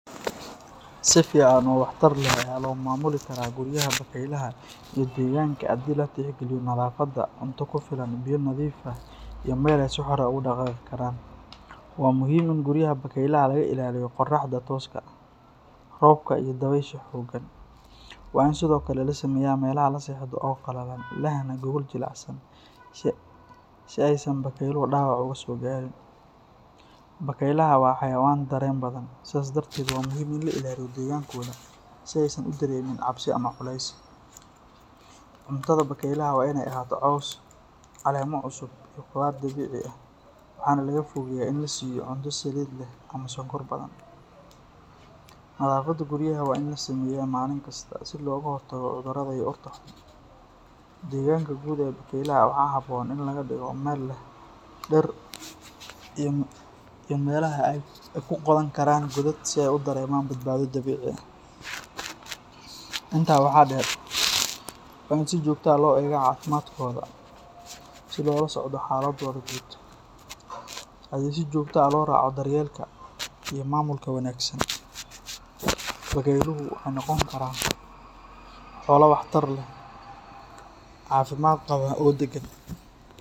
Si fiican oo waxtar leh ayaa loo maamuli karaa guriyaha bakaylaha iyo degaanka haddii la tixgeliyo nadaafadda, cunto ku filan, biyo nadiif ah iyo meel ay si xor ah ugu dhaqaaqi karaan. Waa muhiim in guryaha bakaylaha laga ilaaliyo qorraxda tooska ah, roobka iyo dabaysha xooggan. Waa in sidoo kale la sameeyaa meelaha la seexdo oo qalalan, lehna gogol jilicsan si aysan bakayluhu dhaawac uga soo gaarin. Bakaylaha waa xayawaan dareen badan, sidaas darteed waa muhiim in la ilaaliyo degaankooda si aysan u dareemin cabsi ama culays. Cuntada bakaylaha waa inay ahaato caws, caleemo cusub iyo khudaar dabiici ah, waxaana laga fogeeyaa in la siiyo cunto saliid leh ama sonkor badan. Nadaafadda guryaha waa in la sameeyaa maalin kasta si looga hortago cudurrada iyo urta xun. Degaanka guud ee bakaylaha waxaa habboon in laga dhigo mid leh dhir iyo meelaha ay ku qodan karaan godad si ay u dareemaan badbaado dabiici ah. Intaa waxaa dheer, waa in si joogto ah loo eegaa caafimaadkooda si loola socdo xaaladdooda guud. Haddii si joogto ah loo raaco daryeelka iyo maamulka wanaagsan, bakayluhu waxay noqon karaan xoolo waxtar leh, caafimaad qaba oo deggan.